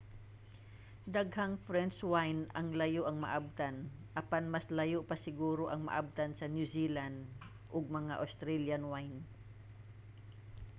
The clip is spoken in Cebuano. daghang french wine ang layo ang maabtan apan mas layo pa siguro ang maabtan sa new zealand ug mga australian wine